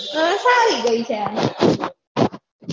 ઘસાઈ ગઈ છે